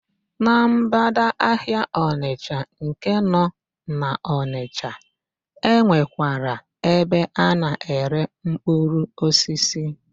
Na ḿgbádà ahịa Ọchanja nke nọ n'Ọnịsha, e nwekwara ebe a na-ere mkpụrụosisi.